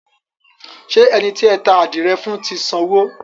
Ṣé ẹni tí ẹ ta àdìrẹ fún ti sanwó?